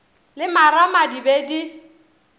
le marama di be di